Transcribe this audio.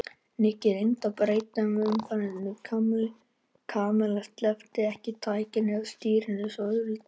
Nikki reyndi að breyta um umræðuefni en Kamilla sleppti ekki takinu á stýrinu svo auðveldlega.